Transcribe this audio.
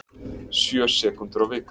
Sjö sekúndur á viku